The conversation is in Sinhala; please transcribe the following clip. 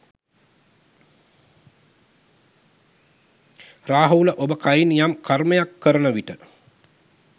රාහුල ඔබ කයින් යම් කර්මයක් කරන විට